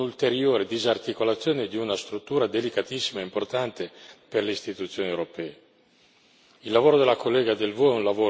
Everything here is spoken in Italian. e rischia di trasformarsi in un'ulteriore disarticolazione di una struttura delicatissima e importante per le istituzioni europee.